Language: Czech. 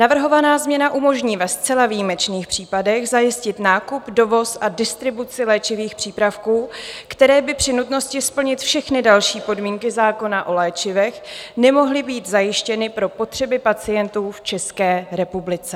Navrhovaná změna umožní ve zcela výjimečných případech zajistit nákup, dovoz a distribuci léčivých přípravků, které by při nutnosti splnit všechny další podmínky zákona o léčivech nemohly být zajištěny pro potřeby pacientů v České republice.